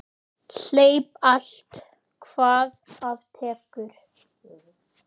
Hleyp allt hvað af tekur.